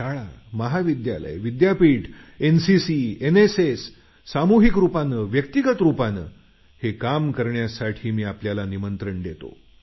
शाळा महाविद्यालयं विद्यापीठ एनसीसी एनएसएस सामूहिक रुपाने व्यक्तिगत रुपाने हे काम करण्यासाठी मी आपल्याला निमंत्रण देतो